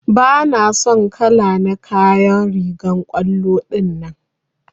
Bana son kala na kayan rigan kwallo dinnan.